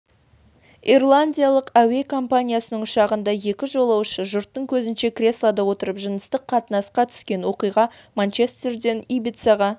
ирландиялық әуе компаниясының ұшағында екі жолаушы жұрттың көзінше креслода отырып жыныстық қатынасқа түскен оқиға манчестерден ибицаға